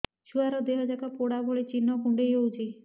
ଛୁଆର ଦିହ ଯାକ ପୋଡା ଭଳି ଚି଼ହ୍ନ କୁଣ୍ଡେଇ ହଉଛି